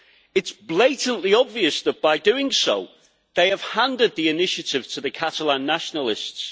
It is blatantly obvious that by doing so, they have handed the initiative to the Catalan nationalists.